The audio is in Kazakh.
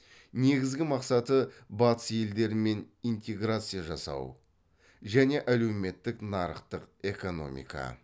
негізгі мақсаты батыс елдерімен интеграция жасау және әлеуметтік нарықтық экономика